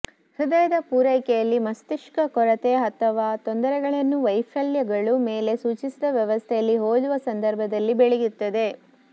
ಹೃದಯದ ಪೂರೈಕೆಯಲ್ಲಿ ಮಸ್ತಿಷ್ಕ ಕೊರತೆ ಅಥವಾ ತೊಂದರೆಗಳನ್ನು ವೈಫಲ್ಯಗಳು ಮೇಲೆ ಸೂಚಿಸಿದ ವ್ಯವಸ್ಥೆಯಲ್ಲಿ ಹೋಲುವ ಸಂದರ್ಭದಲ್ಲಿ ಬೆಳೆಯುತ್ತದೆ